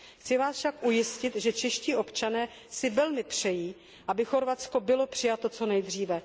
Chci vás však ujistit, že čeští občané si velmi přejí, aby Chorvatsko bylo přijato co nejdříve.